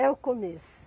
É o começo.